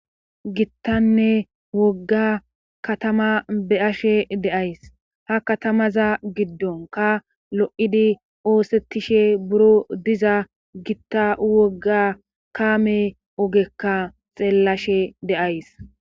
Gitanne wogga katamaa be7ashe de7ays;ha katamaza giddonkka lo7idi oosettishe buro diza gita wogga kaame ogekka xeellashe de7ays.